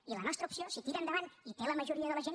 i la nostra opció si tira endavant i té la majoria de la gent